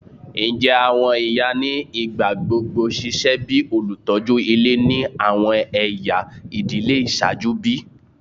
Njẹ awọn iya ni igbagbogbo ṣiṣẹ bi olutọju ile ni awọn ẹya idile iṣaaju bi?